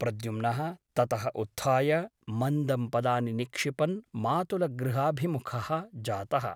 प्रद्युम्नः ततः उत्थाय मन्दं पदानि निक्षिपन् मातुलगृहाभिमुखः जातः ।